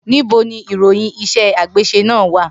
Nibo ni iroyin ise agbese na wa?